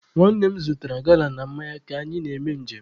Nwanne m zụtara gala na mmanya ka anyị na-eme nje m.